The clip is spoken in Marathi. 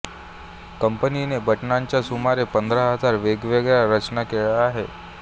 कंपनीने बटणांच्या सुमारे पंधरा हजार वेगवेगळ्या रचना केल्या आहेत